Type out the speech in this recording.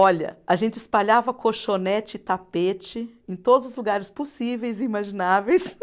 Olha, a gente espalhava colchonete e tapete em todos os lugares possíveis e imagináveis.